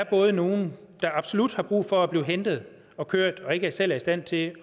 både er nogle der absolut har brug for at blive hentet og kørt og ikke selv er i stand til